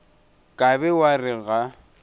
ka be wa re ga